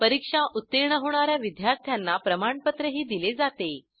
परीक्षा उत्तीर्ण होणा या विद्यार्थ्यांना प्रमाणपत्रही दिले जाते